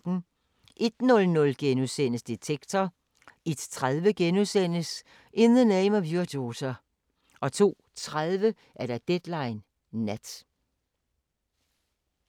01:00: Detektor * 01:30: In the Name of Your Daughter * 02:30: Deadline Nat